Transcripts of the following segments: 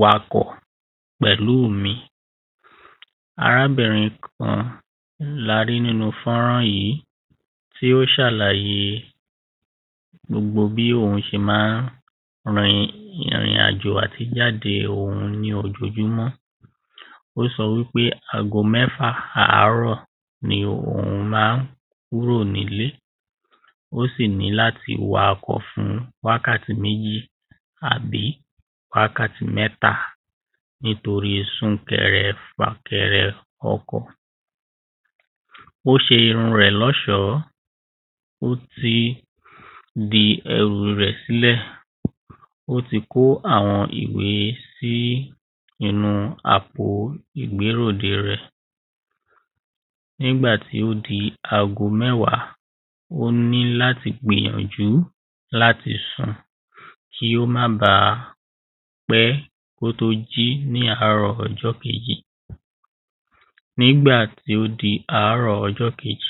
wakọ̀ pẹ̀lú mi arábìrin kan larí nínú fọ́nrán yí tí ó ṣàlàyé gbogbo bí òhun ṣe máa ń rin ìrìn àjò àti ìjáde òhun ní ojoojúmọ́ ó sọ wípé ago mẹ́fà àárọ̀ ni òhun máa ń kúrò nílé ó sì ní láti wakọ̀ fún wákàtí méjì àbí wákàtí mẹ́ta nítorí súnkẹrẹ fàkẹrẹ ọkọ̀ ó ṣe irun rẹ̀ lọ́ṣọ̀ọ́ ó ti di ẹrù rẹ̀ sílẹ̀ ó ti kó àwọn ìwé sí inú àpò ìgbéròde rẹ̀ nígbà tó di ago mẹ́wàá ó ní láti gbìyànjú láti sùn kí ó má ba pẹ́ kó tó jí ní àárọ̀ ọjọ́ kejì nígbà tó di àárọ̀ ọjọ́ kejì,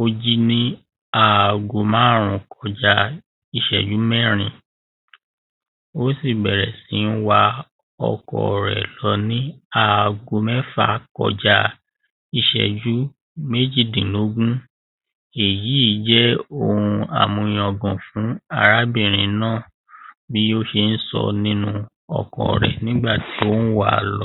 ó jí ní ago márùn-ún kọjá ìṣẹ́jú mẹ́rin ó sì bẹ̀rẹ̀ sí wa ọkọ̀ rẹ̀ lọ ní ago mẹ́fà kọjá ìṣẹ́jú méjìdínlógún èyí jẹ́ ohun àmúyangàn fún arábìrin náà bí ó ṣe ń sọ́ nínú ọkọ̀ rẹ̀ nígbà tí ó ń wàá lọ